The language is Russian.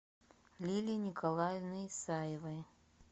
лилей николаевной исаевой